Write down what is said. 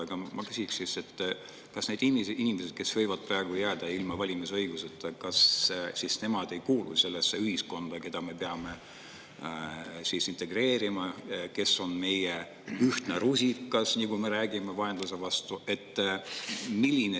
Aga ma küsin siis, kas need inimesed, kes võivad praegu jääda ilma valimisõiguseta, ei kuulu sellesse ühiskonda, keda me peame integreerima, kes on meie ühtne rusikas – nagu me räägime – vaenlase vastu?